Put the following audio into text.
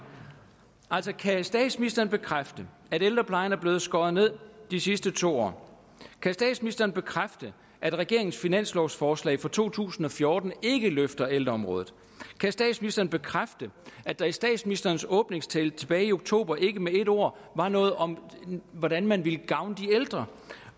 altså kan statsministeren bekræfte at ældreplejen er blevet skåret ned de sidste to år kan statsministeren bekræfte at regeringens finanslovsforslag for to tusind og fjorten ikke løfter ældreområdet kan statsministeren bekræfte at der i statsministerens åbningstale tilbage i oktober ikke med et ord var noget om hvordan man vil gavne de ældre